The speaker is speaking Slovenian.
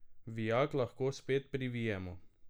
Vijak lahko spet privijemo.